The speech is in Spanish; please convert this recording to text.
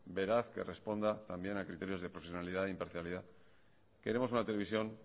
veraz que responda también a criterios de profesionalidad e imparcialidad queremos una televisión